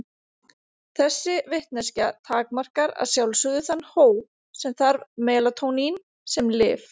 Þessi vitneskja takmarkar að sjálfsögðu þann hóp sem þarf melatónín sem lyf.